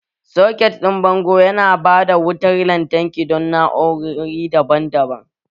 Soketin bango yana ba da wutar lantarki don na'urori daban-daban